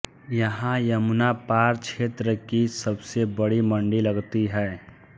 यहां यमुनापार क्षेत्र की सबसे बड़ी मंडी लगती है